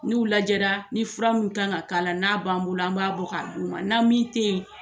N' u lajɛra ni fura min kan ka k'a la, n'a b'an bolo, an b'a bɔ k'a du ma, na min te yen